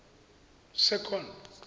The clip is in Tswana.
second